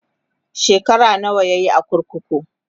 shekara nawa yayi a kurkuku?